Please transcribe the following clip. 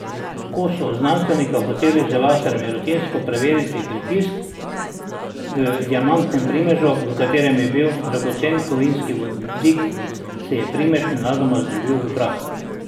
Ko sta znanstvenika hotela z laserjem rutinsko preveriti pritisk v diamantnem primežu, v katerem je bil dragoceni kovinski vodik, se je primež nenadoma zdrobil v prah.